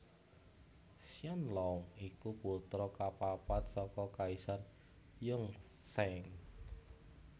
Qianlong iku putra kapapat saka Kaisar Yongzheng